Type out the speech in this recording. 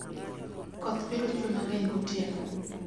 koth biro chue mang'eny gotieno